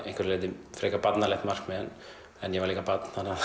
einhverju leyti frekar barnalegt markmið en ég var líka barn þannig að